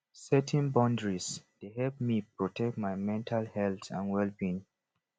setting boundaries dey help me protect my mental health and wellbeing